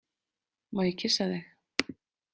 Má ég kyssa þig?